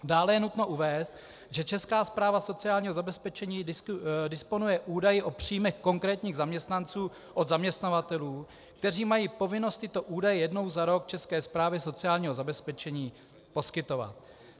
Dále je nutno uvést, že Česká správa sociálního zabezpečení disponuje údaji o příjmech konkrétních zaměstnanců od zaměstnavatelů, kteří mají povinnost tyto údaje jednou za rok České správě sociálního zabezpečení poskytovat.